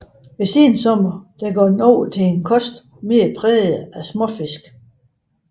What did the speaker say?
Ved sensommer går den over til en kost mere præget af småfisk